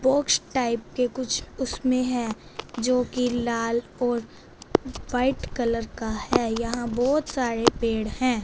Box type के कुछ उसमें हैं जो की लाल और व्हाइट कलर का हैं यहां बहोत सारे पेड़ हैं।